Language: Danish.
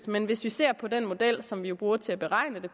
men hvis vi ser på den model som vi jo bruger til at beregne det